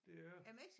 Det er